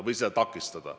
Seda püütakse takistada.